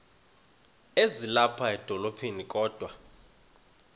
ezilapha edolophini kodwa